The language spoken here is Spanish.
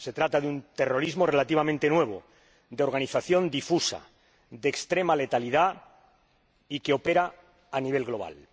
Se trata de un terrorismo relativamente nuevo, de organización difusa, de extrema letalidad y que opera a nivel global.